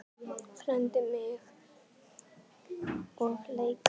Fræddi mig og leiddi.